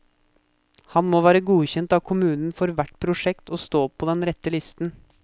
Han må være godkjent av kommunen for hvert prosjekt og stå på den rette listen.